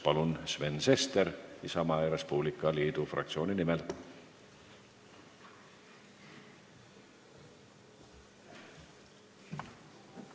Palun, Sven Sester Isamaa ja Res Publica Liidu fraktsiooni nimel!